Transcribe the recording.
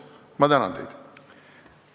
Ma tänan teid!